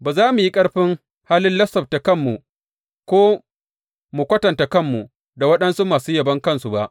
Ba za mu yi ƙarfin halin lissafta kanmu, ko mu kwatanta kanmu da waɗansu masu yabon kansu ba.